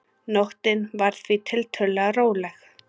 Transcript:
Nóttin var því tiltölulega róleg